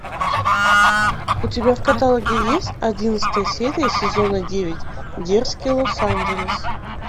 у тебя в каталоге есть одиннадцатая серия сезона девять дерзкий лос анджелес